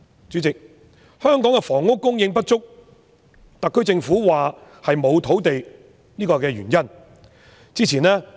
主席，香港的房屋供應不足，特區政府說原因是沒有土地。